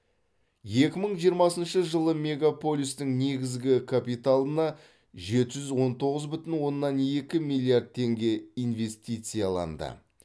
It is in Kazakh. екі мың жиырмасыншы жылы мегаполистің негізгі капиталына жеті жүз он тоғыз бүтін оннан екі миллиард теңге инвестицияланды